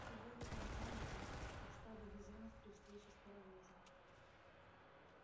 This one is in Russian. чего вы там орали то как стадо бизонов при встрече с паровозом